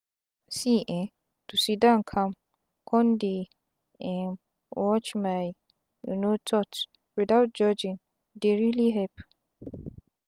see eeh to siddon calm con dey um watch my um thoughts without judgment dey really help.